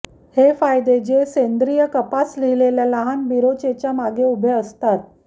हे फायदे जे सेंद्रीय कपास लिहिलेल्या लहान बिरोचेच्या मागे उभे असतात